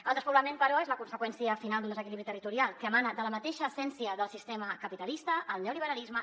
el despoblament però és la conseqüència final d’un desequilibri territorial que emana de la mateixa essència del sistema capitalista el neoliberalisme